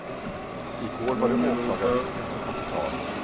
Igår var det åklagarvittnen som kom till tals.